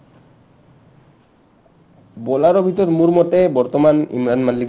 bowler ৰ ভিতৰত মোৰ মতে বৰ্তমান ইমৰান মাল্লিক